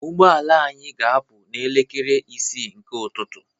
Ụgbọ ala anyị ga-apụ n'elekere isii nke ụtụtụ